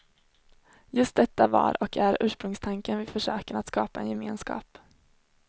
Just detta var och är ursprungstanken vid försöken att skapa en gemenskap.